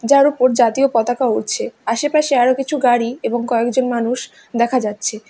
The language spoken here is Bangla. যার উপর জাতীয় পতাকা উড়ছে আশেপাশে আরো কিছু গাড়ি এবং কয়েকজন মানুষ দেখা যাচ্ছে।